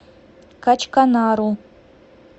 качканару